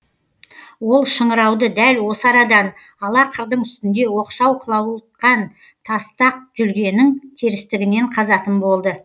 ол шыңырауды дәл осы арадан ала қырдың үстінде оқшау қылауытқан тастақ жүргенің терістігінен қазатын болды